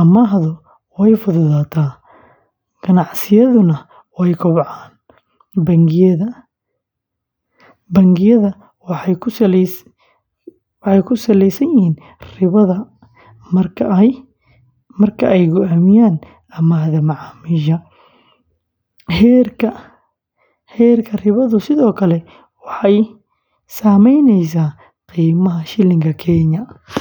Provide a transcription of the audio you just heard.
amaahdu way fududaataa, ganacsiyaduna way kobcaan. Bangiyada waxay ku saleyaan ribada marka ay go’aaminayaan amaahda macaamiisha. Heerka ribadu sidoo kale waxay saameyneysaa qiimaha shilinka Kenya.